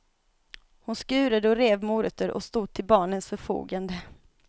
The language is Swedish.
Hon skurade och rev morötter och stod till barnens förfogande.